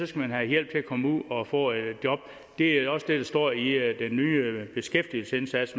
skal have hjælp til at komme ud og få et job det er også det der står i den nye beskæftigelsesindsats